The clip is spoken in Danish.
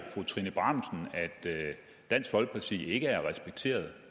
fru trine bramsen at dansk folkeparti ikke er respekteret